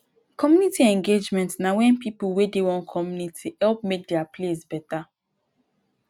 community engagement na wen pipo wey dey one community help make dia place beta